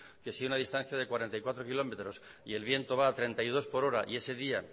que si una distancia de cuarenta y cuatro kilómetros y el viento va a treinta y dos por hora y ese día